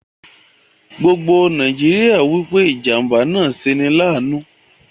Gbogbo Nàìjíríà wípé ìjàmbá náà ṣe 'ní láànu